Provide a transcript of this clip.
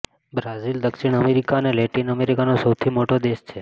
Brazil દક્ષિણ America અને Latin અમેરિકાનો સૌથી મોટો દેશ છે